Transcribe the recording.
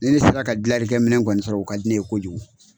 Ni ne sera ka gilalikɛ minɛn kɔni sɔrɔ , o ka di ne ye kojugu.